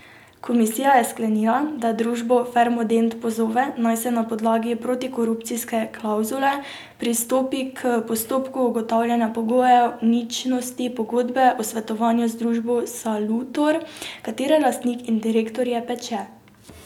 Komisija je sklenila, da družbo Farmadent pozove, naj na podlagi protikorupcijske klavzule pristopi k postopku ugotavljanja pogojev ničnosti pogodbe o svetovanju z družbo Salutor, katere lastnik in direktor je Peče.